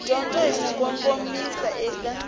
dyondzo hi ku kongomisa eka